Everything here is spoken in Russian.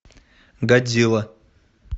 годзилла